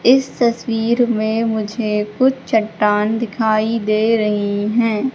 इस तस्वीर में मुझे कुछ चट्टान दिखाई दे रही हैं।